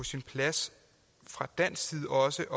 sin plads fra dansk side også